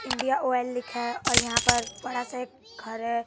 India oil लिखा है और यहां पर बड़ा सा एक घर है।